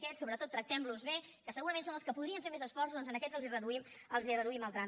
aquests sobretot tractem los bé que segurament són els que podrien fer més esforços doncs a aquests els reduïm el tram